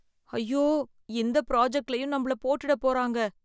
ஐயோ இந்த ப்ராஜெக்ட்லயும் நம்மள போட்டுட போறாங்க!